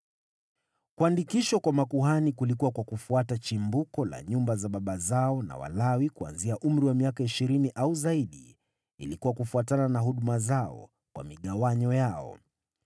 Kuandikishwa kwa makuhani kulikuwa kwa kufuata chimbuko la nyumba za baba zao na Walawi kuanzia umri wa miaka ishirini au zaidi ilikuwa kufuatana na huduma zao, kwa migawanyo yao.